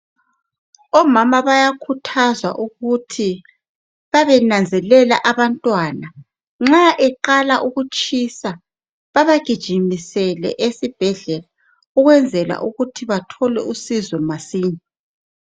Omama bayakhuthazwa ukuthi bebenanzelela abantwana nxa eqala ukutshisa bebagijimisele esibhedlela ukwenzela ukuthi bathole usizo masinya.